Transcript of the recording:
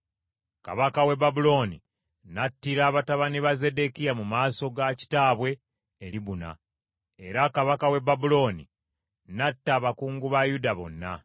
Kabaka w’e Babulooni n’attira batabani ba Zeddekiya mu maaso ga kitaabwe e Libuna, era kabaka w’e Babulooni n’atta abakungu ba Yuda bonna.